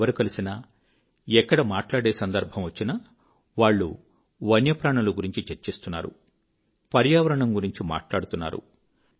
ఎవరు కలిసినా ఎక్కడ మాట్లాడే సందర్భం వచ్చినా వాళ్ళు వన్యప్రాణుల గురించి చర్చిస్తున్నారు పర్యావరణం గురించి మాట్లాడుతున్నారు